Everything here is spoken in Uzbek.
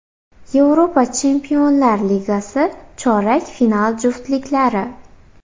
Yevropa Chempionlar Ligasi chorak final juftliklari.